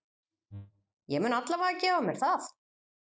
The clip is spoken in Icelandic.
Ég mun alla vega gefa mér það.